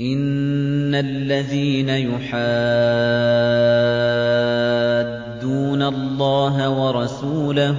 إِنَّ الَّذِينَ يُحَادُّونَ اللَّهَ وَرَسُولَهُ